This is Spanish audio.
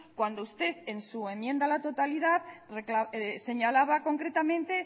cuando usted en su enmienda a la totalidad señalaba concretamente